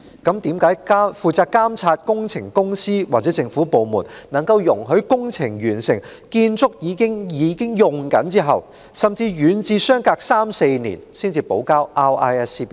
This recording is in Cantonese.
那麼，負責監察工程的公司或政府部門為何在工程完成、建築已啟用後，甚或遠至相隔三四年，容許承建商補交 RISC 表格？